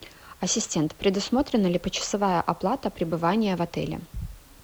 ассистент предусмотрена ли почасовая оплата пребывания в отеле